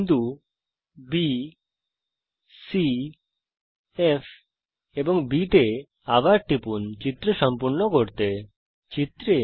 বিন্দু B C F A এবং চিত্র সম্পূর্ণ করার জন্য B তে আবার টিপুন